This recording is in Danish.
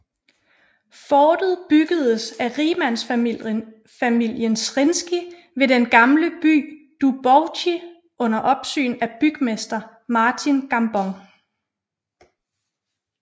Fortet byggedes af rigmandsfamilien Zrinski ved den gamle by Dubovci under opsyn af bygmester Martin Gambon